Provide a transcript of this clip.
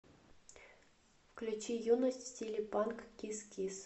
включи юность в стиле панк кис кис